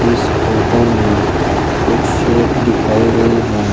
इस फोटो में कुछ शेप दिखाई गई हैं।